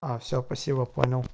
а всё спасибо понял